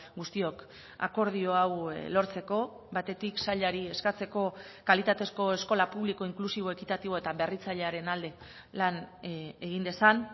guztiok akordio hau lortzeko batetik sailari eskatzeko kalitatezko eskola publiko inklusibo ekitatibo eta berritzailearen alde lan egin dezan